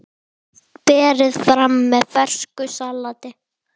Berið fram með fersku salati.